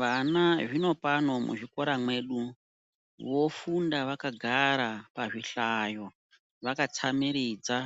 Vana zvino pano muzvikora mwedu vofunda vakagara pa zvi hlayo vaka tsamiridza